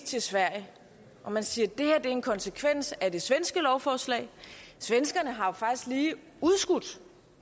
til sverige og man siger det her er en konsekvens af det svenske lovforslag svenskerne har jo faktisk lige udskudt